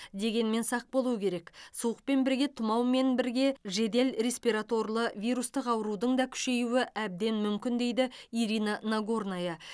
дегенмен сақ болу керек суықпен бірге тұмау мен бірге жедел респираторлы вирустық аурудың да күшеюі әбден мүмкін дейді ирина нагорная